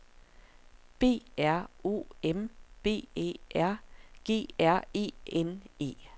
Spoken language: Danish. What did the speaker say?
B R O M B Æ R G R E N E